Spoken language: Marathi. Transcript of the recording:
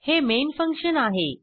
हे मेन फंक्शन आहे